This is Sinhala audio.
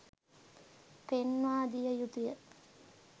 පෙන්වා දිය යුතුය